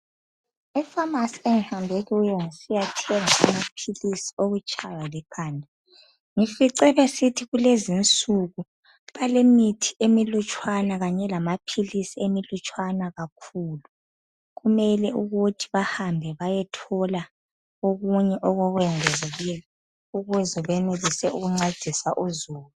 Efamasi enguhambe kuyo ngisiyathenga amaphilisi okutshaywa likhanda ngifice besithi kulezinsuku balemithi emilutshwana kanye lama philisi amalutshwana kakhulu. Kumele ukuthi bahambe bayethola okunye okokwengezelela ukuze beyenelise ukuncedisa uzulu.